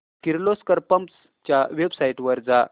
Kirloskar pumps च्या website वर जा